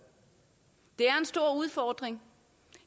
det er en stor udfordring